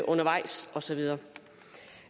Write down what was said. undervejs og så videre